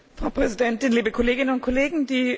Frau Präsidentin, liebe Kolleginnen und Kollegen!